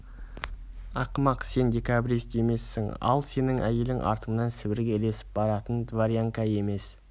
ақымақ сен декабрист емессің ал сенің әйелің артыңнан сібірге ілесіп баратын дворянка емес